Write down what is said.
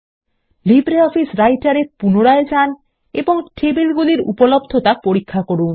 LibreOffice Writer এ পুনরায় যান এবং টেবিলগুলির উপলব্ধতা পরীক্ষা করুন